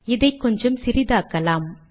இதை கொஞ்சம் சிறியதாக்கலாம்